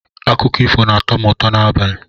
Akụkọ ifo na-atọ m ụtọ n'abalị